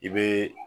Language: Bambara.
I bɛ